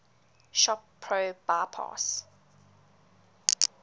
shop pro bypass